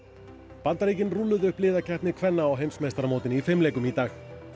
Bandaríkin rúlluðu upp liðakeppni kvenna á heimsmeistaramótinu í fimleikum í dag